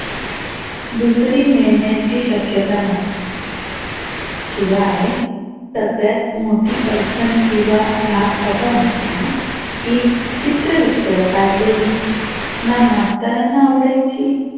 दुसरी मिळन्याची शक्यता नव्ह शिवाय सगळ्यात मोठी अडचन किंवा धाक असा होता की चित्र वित्र काढलेली ना मास्तरांना आवडायची